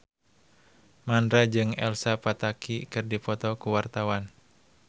Mandra jeung Elsa Pataky keur dipoto ku wartawan